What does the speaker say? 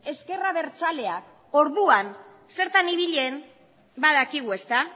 ezker abertzaleak orduan zertan ibili zen badakigu ezta